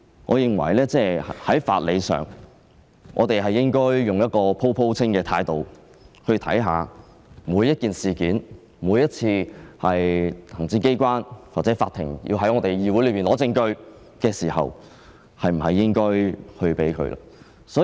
我認為在法理上我們應該按每宗個案的情況予以考慮，決定每次行政機關或法庭要在議會內取得證據時，是否應該給予許可。